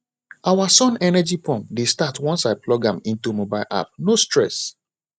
our sun energy pump dey start once i plug am into mobile ap no stress